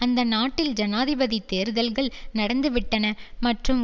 அந்த நாட்டில் ஜனாதிபதி தேர்தல்கள் நடந்துவிட்டன மற்றும்